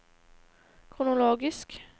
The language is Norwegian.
kronologisk